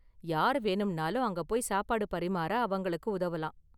யார் வேணும்னாலும் அங்க போய் சாப்பாடு பரிமாற அவங்களுக்கு உதவலாம்.